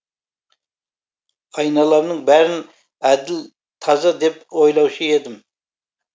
айналамның бәрін әділ таза деп ойлаушы едім